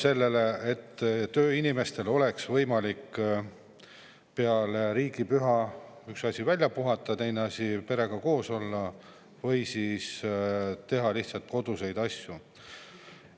Üks asi oleks see, et tööinimestel oleks võimalik peale riigipüha välja puhata, ja teine asi see, perega koos olla või teha lihtsalt koduseid asju.